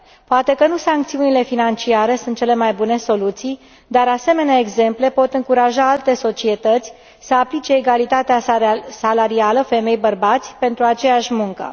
Poate că nu sancțiunile financiare sunt cele mai bune soluții, dar asemenea exemple pot încuraja alte societăți să aplice egalitatea salarială femei bărbați pentru aceeași muncă.